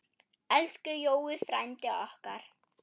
Elsku Jói frændi okkar.